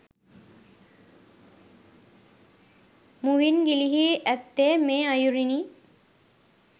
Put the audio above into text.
මුවින් ගිලිහී ඇත්තේ මේ අයුරිනි.